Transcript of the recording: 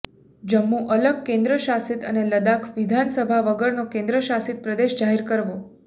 જમ્મુ અલગ કેન્દ્રશાસિત અને લડાખ વિધાનસભા વગરનો કેન્દ્રશાસિત પ્રદેશ જાહેર કરવો